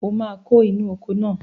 O máa kó inú oko náà